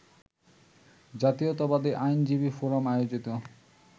জাতীয়তাবাদী আইনজীবী ফোরাম আয়োজিত